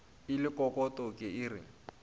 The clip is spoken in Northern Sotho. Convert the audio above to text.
e le kokoto ke re